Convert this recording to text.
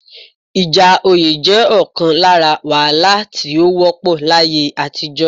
Ìjà oyé jẹ́ ọ̀kan lára wàhálà tí ó wọ́pọ̀ láyé àtijọ́